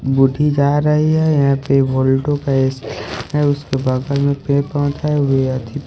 बुढ़ी जा रही है यहां पे वोल्टो का ए_सी है उसके बगल में पेड़ पौधा है और--